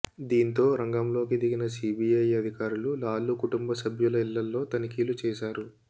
దీంతో రంగంలోకి దిగిన సీబీఐ అధికారులు లాలూ కుటుంబసభ్యుల ఇళ్లలో తనిఖీలు చేశారు